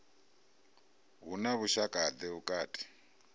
hu na vhushaka ḓe vhukati